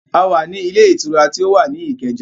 A wá ní ilé ìtura tí ó wà ní Ìkẹjà